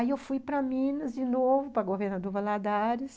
Aí eu fui para Minas de novo, para a Governador Valadares,